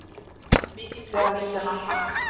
Mikið ber á milli landanna